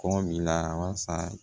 Kɔngɔ san